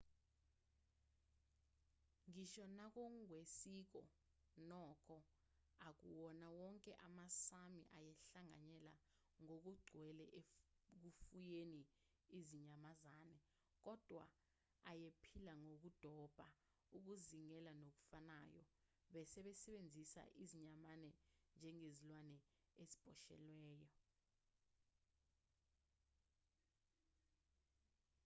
ngisho nangokwesiko nokho akuwona wonke amasámi ayehlanganyele ngokugcwele ekufuyeni izinyamazane kodwa ayephila ngokudoba ukuzingela nokufanayo besebenzisa izinyamazane njengezilwane eziboshelwayo